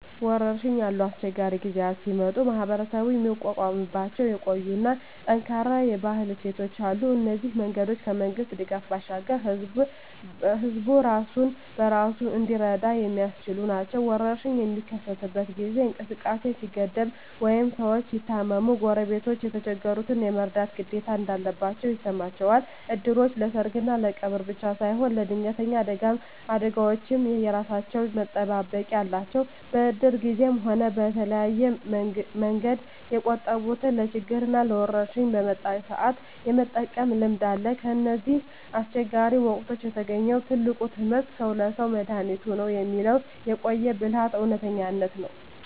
ወረርሽኝ ያሉ አስቸጋሪ ጊዜያት ሲመጡ ማኅበረሰቡ የሚቋቋምባቸው የቆዩና ጠንካራ የባህል እሴቶች አሉ። እነዚህ መንገዶች ከመንግሥት ድጋፍ ባሻገር ሕዝቡ ራሱን በራሱ እንዲረዳ የሚያስችሉ ናቸው። ወረርሽኝ በሚከሰትበት ጊዜ እንቅስቃሴ ሲገደብ ወይም ሰዎች ሲታመሙ፣ ጎረቤቶች የተቸገሩትን የመርዳት ግዴታ እንዳለባቸው ይሰማቸዋል። እድሮች ለሰርግና ለቀብር ብቻ ሳይሆን ለድንገተኛ አደጋዎችም የራሳቸው መጠባበቂያ አላቸው። በእድር ጊዜም ሆነ በተለያየ መንገድ የቆጠቡትን ለችግርና ለወረርሽኝ በመጣ ሰአት የመጠቀም ልምድ አለ። ከእነዚህ አስቸጋሪ ወቅቶች የተገኘው ትልቁ ትምህርት "ሰው ለሰው መድኃኒቱ ነው" የሚለው የቆየ ብልሃት እውነተኝነት ነው።